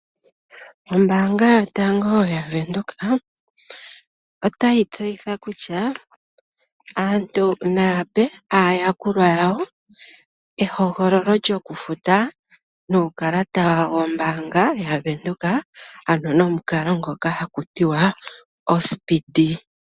Ombaanga yotango ya Venduka, otayi tseyitha kutya aantu naya pe aayakulwa yawo ehogololo lyoku futa nuukalata wombaanga yaVenduka ano nomukalo ngoka haku tiwa ospindi.